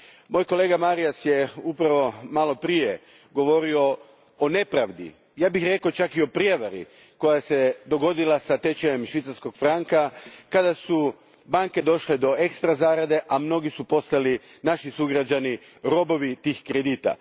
Moj kolega Marias je upravo malo prije govorio o nepravdi, ja bih rekao čak i o prijevari, koja se dogodila s tečajem švicarskog franka kada su banke došle do ekstra zarade, a mnogi naši sugrađani postali su robovi tih kredita.